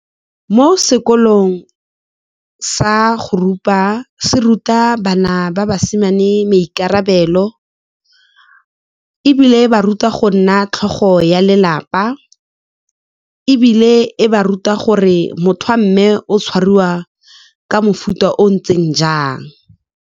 Mo sekolong sa go rupa, se ruta bana ba basimane maikarabelo, ebile e ba ruta go nna tlhogo ya lelapa, ebile e ba ruta gore motho a mme o tshwariwa ka mofuta o o ntseng jang.